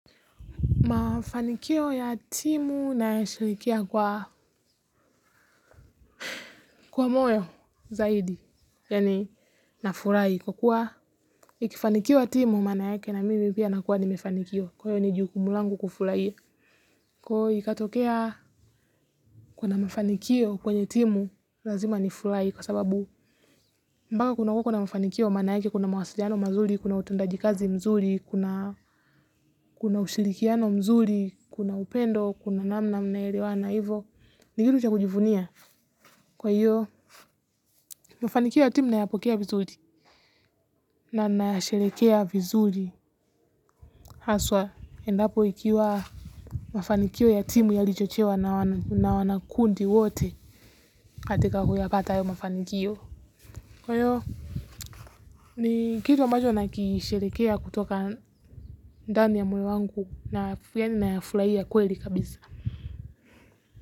Mafanikio ya timu nayashirikia kwa kwa moyo zaidi, yani nafurahi kwa kuwa ikifanikiwa timu maana yake na mimi pia nakuwa nimefanikiwa kwa hiyo ni jukumu langu kufurahiya. Kwa hiyo ikatokea kuna mafanikio kwenye timu lazima nifurahi kwa sababu mpaka kuna kunawakwo na mafanikio maana yake kuna mawasiliano mazuri, kuna utendaji kazi mzuri, kuna ushirikiano mzuri, kuna upendo, kuna namna mnaelewana ivo. Ni kitu cha kujivunia. Kwa hiyo, mafanikio ya timu nayapokea vizuri. Na nina yasherekea vizuri. Haswa, endapo ikiwa mafanikio ya timu yalichochewa na wana kundi wote. Katika kuyapata hayo mafanikio. Kwa hiyo, ni kitu ambacho na kisherekea kutoka ndani ya moyo wangu. Na yafulahiya kweli kabisa.